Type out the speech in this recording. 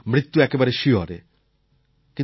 ভাবতাম যে মৃত্যু একেবারে শিয়রে